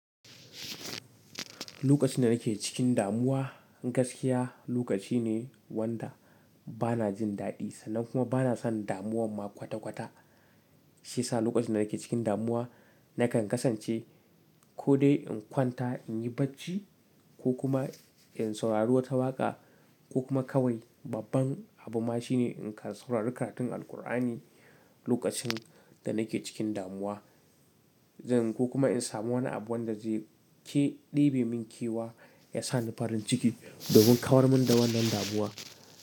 Lokacin da nake cikin damuwa gaskiya lokaci ne wanda bana jin daɗi sannan kuma bana son damuwan ma kwata-kwata. Shi ya sa lokacin da nake cikin damuwa nakan kasance ko dai in kwanta in yi bacci ko kuma in saurari wata waƙa ko kuma kawai babban abu ma shine in ka saurari karatun Alqur'ani lokacin da nake cikin damuwa. Zan ko kuma in samu wani abu wanda zai ke ɗebe min kewa ya sa ni farin ciki domin kawar min da wannan damuwa.